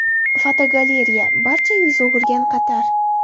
Fotogalereya: Barcha yuz o‘girgan Qatar.